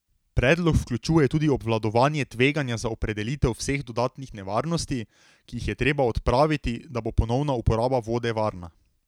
Predlog vključuje tudi obvladovanje tveganja za opredelitev vseh dodatnih nevarnosti, ki jih je treba odpraviti, da bo ponovna uporaba vode varna.